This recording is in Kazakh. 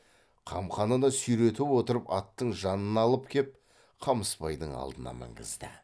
қамқанына сүйретіп отырып аттың жанына алып кеп қамысбайдың алдына мінгізді